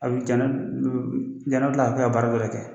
A bi jano jara bi kila ka taa baara wɛrɛ kɛ